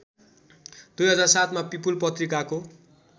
२००७ मा पिपुल पत्रिकाको